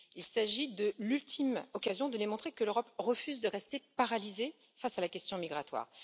Il s'agit de l'ultime occasion de démontrer que l'Europe refuse de rester paralysée face à la question migratoire.